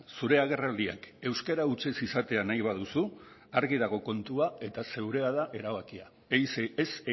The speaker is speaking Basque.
zure agerraldiak euskara hutsez izatea nahi baduzu argi dago kontua eta zurea da erabakia ez